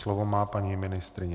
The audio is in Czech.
Slovo má paní ministryně.